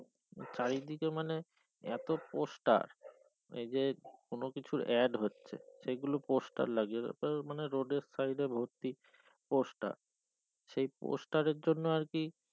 চারিদিকে মানে এতো poster এই যে কোন কিছুর AD হচ্ছে সে গুলোর poster লাগিয়েছে তার মানে road side ভর্তি poster সেই poster জন্য আর কি